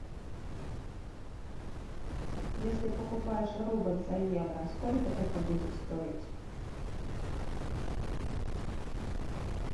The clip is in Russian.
если покупаешь рубль за евро сколько это будет стоить